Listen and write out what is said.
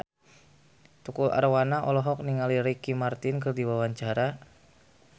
Tukul Arwana olohok ningali Ricky Martin keur diwawancara